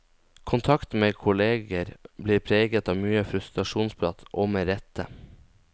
Kontakten med kolleger blir preget av mye frustrasjonsprat, og med rette.